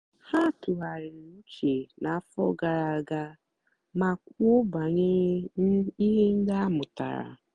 ha tụ̀ghàrị̀rì ùchè n'àfọ́ gààrà àga mà kwùó bànyèrè ihe ndí a mụ́tàra.